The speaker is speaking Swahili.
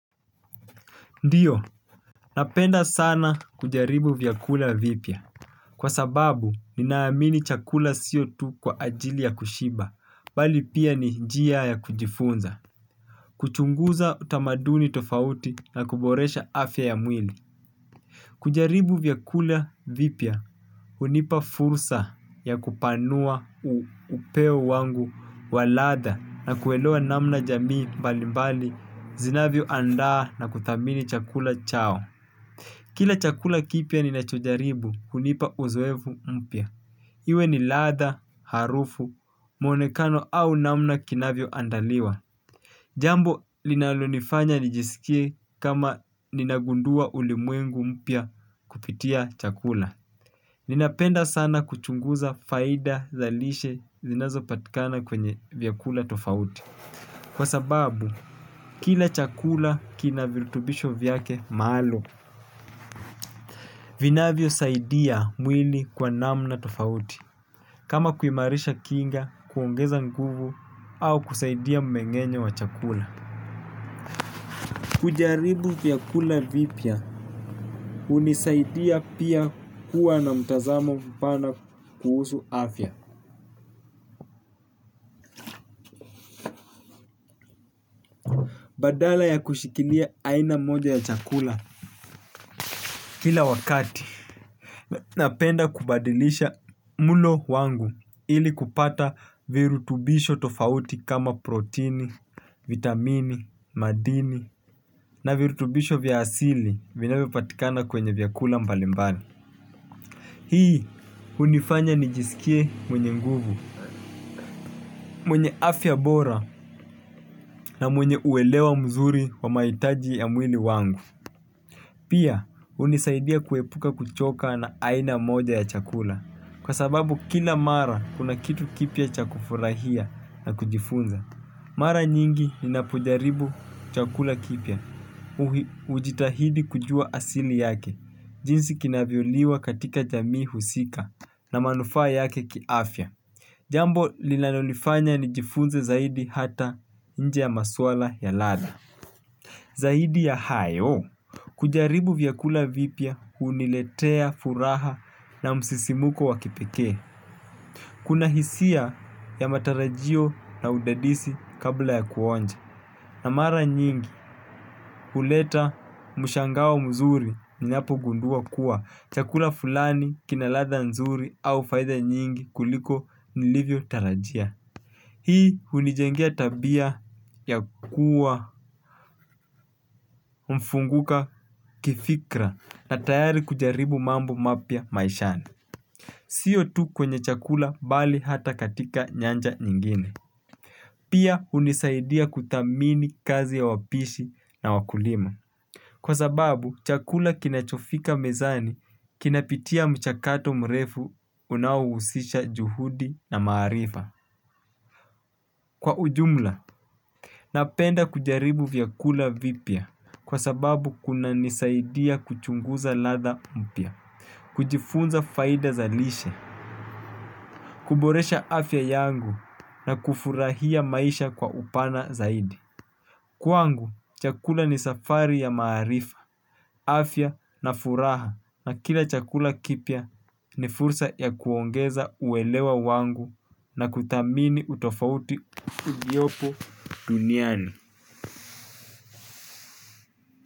Ndiyo, napenda sana kujaribu vyakula vipya. Kwa sababu, ninaamini chakula sio tu kwa ajili ya kushiba, bali pia ni njia ya kujifunza. Kuchunguza utamaduni tofauti na kuboresha afya ya mwili. Kujaribu vyakula vipya hunipa fursa ya kupanua upeo wangu wa ladha na kuelewa namna jamii mbalimbali zinavyo andaa na kuthamini chakula chao. Kila chakula kipya ninachojaribu hunipa uzoefu mpya. Iwe ni ladha, harufu, mwonekano au namna kinavyo andaliwa. Jambo linalonifanya nijisikie kama ninagundua ulimwengu mpya kupitia chakula. Ninapenda sana kuchunguza faida za lishe zinazo patikana kwenye vyakula tofauti. Kwa sababu, kila chakula kinavirutubisho vyake maalum. Vinavyo saidia mwili kwa namna tofauti. Kama kuimarisha kinga, kuongeza nguvu, au kusaidia mmengenyo wa chakula. Kujaribu vyakula vipya hunisaidia pia kuwa na mtazamo mpana kuhusu afya. Badala ya kushikilia aina moja ya chakula. Kila wakati, napenda kubadilisha mlo wangu ili kupata virutubisho tofauti kama protini, vitamini, madini na virutubisho vya asili vinavyo patikana kwenye vyakula mbalimbali. Hii hunifanya nijisikie mwenye nguvu, mwenye afya bora na mwenye uelewa mzuri wa mahitaji ya mwili wangu. Pia hunisaidia kuepuka kuchoka na aina moja ya chakula kwa sababu kila mara kuna kitu kipya cha kufurahia na kujifunza. Mara nyingi ninapojaribu chakula kipya, ujitahidi kujua asili yake, jinsi kinavyoliwa katika jamii husika na manufaa yake kiafya. Jambo linalo nifanya nijifunze zaidi hata nje ya maswala ya ladha. Zaidi ya hayo, kujaribu vyakula vipya huniletea furaha na msisimuko wa kipekee. Kuna hisia ya matarajio na udadisi kabla ya kuonja. Na mara nyingi, huleta mshangao mzuri ninapo gundua kuwa chakula fulani kina ladha nzuri au faida nyingi kuliko nilivyo tarajia. Hii hunijengea tabia ya kuwa mfunguka kifikra. Na tayari kujaribu mambo mapya maishani. Siyo tu kwenye chakula bali hata katika nyanja nyingine pia hunisaidia kuthamini kazi ya wapishi na wakulima kwa sababu chakula kinacho fika mezani kinapitia mchakato mrefu unaohusisha juhudi na maarifa. Kwa ujumla, napenda kujaribu vyakula vipya kwa sababu kuna nisaidia kuchunguza ladha mpya. Kujifunza faida za lishe kuboresha afya yangu na kufurahia maisha kwa upana zaidi. Kwangu, chakula ni safari ya maarifa, afya na furaha na kila chakula kipya ni fursa ya kuongeza uelewa wangu na kuthamini utofauti uliopo duniani.